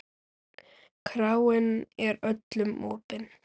Kráin er öllum opin.